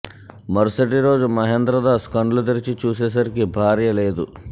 మరుసటి రోజు మహేంద్రదాన్ కండ్లు తెరిచి చూసే సరికి భార్య లేదు